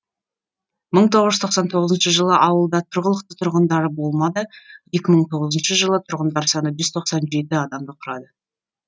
мың тоғыз жүз тоқсан тоғызыншы жылы ауылда тұрғылықты тұрғындары болмады екі мың тоғызыншы жылы тұрғындар саны жүз тоқсан жеті адамды құрады